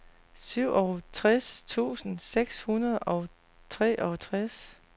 syvogtres tusind seks hundrede og treogtres